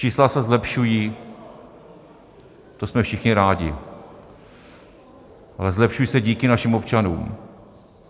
Čísla se zlepšují, to jsme všichni rádi, ale zlepšují se díky našim občanům.